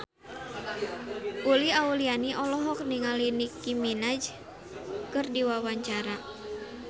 Uli Auliani olohok ningali Nicky Minaj keur diwawancara